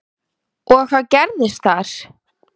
Og hvað gerðist þar?